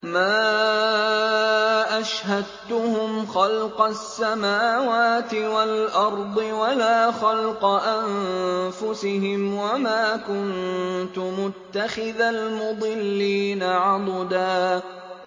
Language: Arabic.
۞ مَّا أَشْهَدتُّهُمْ خَلْقَ السَّمَاوَاتِ وَالْأَرْضِ وَلَا خَلْقَ أَنفُسِهِمْ وَمَا كُنتُ مُتَّخِذَ الْمُضِلِّينَ عَضُدًا